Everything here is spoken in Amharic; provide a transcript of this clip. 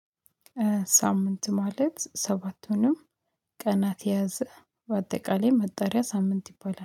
ሳምንት ማለት ሰባቱንም ቀናት የያዘ በአጠቃላይ መጠሪያ ሳምንት ይባላል